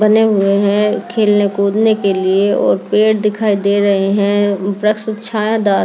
बने हुए हैं खेलने कूदने के लिए और पेड़ दिखाई दे रहे हैं छायादार।